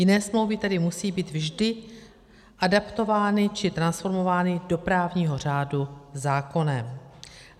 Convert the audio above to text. Jiné smlouvy tedy musí být vždy adaptovány či transformovány do právního řádu zákonem.